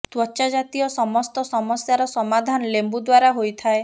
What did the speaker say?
ତ୍ୱଚା ଜାତୀୟ ସମସ୍ତ ସମସ୍ୟାର ସମାଧାନ ଲେମ୍ବୁ ଦ୍ୱାରା ହୋଇଥାଏ